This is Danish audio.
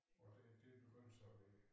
Og det det begyndte så at være